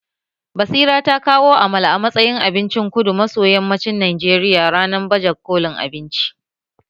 Basira ta kawo Amala a matsayin abincin kudu maso yammacin Najeriya ranan baje kolin abinci